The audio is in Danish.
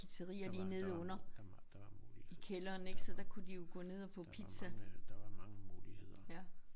Der var der var der var der var muligheder der var der var mange der var mange muligheder